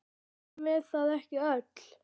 Erum við það ekki öll?